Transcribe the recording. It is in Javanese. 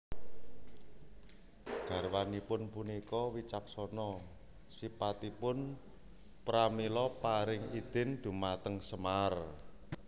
Garwanipun punika wicaksana sipatipun pramila paring idin dhumateng Semar